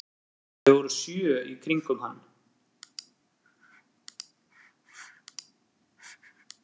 Þeir voru sjö í kringum hann